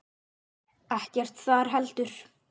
Ekkert þar heldur.